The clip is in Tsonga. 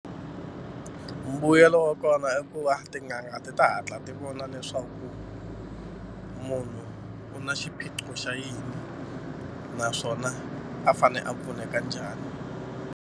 Mbuyelo wa kona i ku va tin'anga ti ta hatla ti vona leswaku munhu u na xiphiqo xa yini naswona a fanele a pfuneka njhani.